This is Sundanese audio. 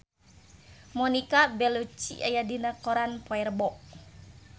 Monica Belluci aya dina koran poe Rebo